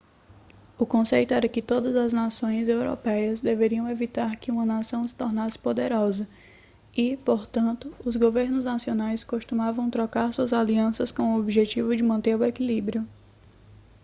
o conceito era que todas as nações europeias deveriam evitar que uma nação se tornasse poderosa e portanto os governos nacionais costumavam trocar suas alianças com o objetivo de manter o equilíbrio